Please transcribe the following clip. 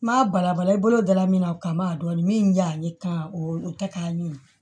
N m'a balabala i bolo da la min na o kama a dɔɔnin min ɲa ne kan o tɛ k'a ɲimi